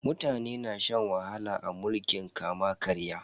Mutane na shan wahala a mulkin kama-karya.